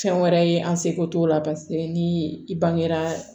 Fɛn wɛrɛ ye an seko t'o la paseke ni i bangera